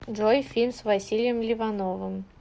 джой фильм с василием ливановым